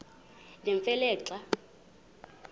nemfe le xa